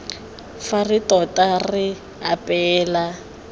fa re tota re apeela